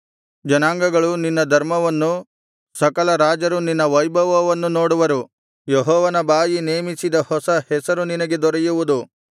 ಜನಾಂಗಗಳು ನಿನ್ನ ಧರ್ಮವನ್ನು ಸಕಲ ರಾಜರು ನಿನ್ನ ವೈಭವವನ್ನು ನೋಡುವರು ಯೆಹೋವನ ಬಾಯಿ ನೇಮಿಸಿದ ಹೊಸ ಹೆಸರು ನಿನಗೆ ದೊರೆಯುವುದು